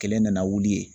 Kelen nana wuli